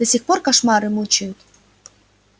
до сих пор кошмары мучают